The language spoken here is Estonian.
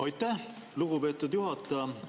Aitäh, lugupeetud juhataja!